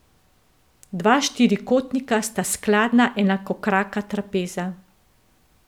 Dva štirikotnika sta skladna enakokraka trapeza.